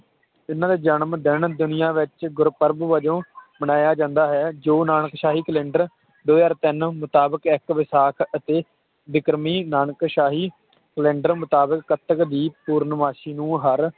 ਇਹਨਾਂ ਦਾ ਜਨਮ ਦਿਨ ਦੁਨੀਆਂ ਵਿਚ ਗੁਰਪ੍ਰਵ ਵਜੋਂ ਮਨਾਇਆ ਜਾਂਦਾ ਹੈ ਜੋ ਨਾਨਕਸ਼ਾਹੀ Calender ਦੋ ਹਾਜ਼ਰ ਤਿਨ ਮੁਤਾਬਿਕ ਇਕ ਵੈਸਾਖ ਅਤੇ ਵਿਕ੍ਰਮੀ ਨਾਨਕਸ਼ਾਹੀ Calender ਮੁਤਾਬਿਕ ਕੱਤਕ ਦੀ ਪੂਰਨਮਾਸ਼ੀ ਨੂੰ ਹਰ